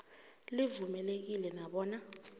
livumelekile na bona